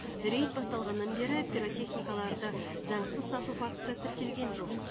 рейт басталғаннан бері пиротехникаларды заңсыз сату фактісі тіркелген жоқ